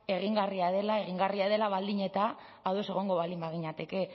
egingarria dela egingarria dela baldin eta ados egongo baldin baginateke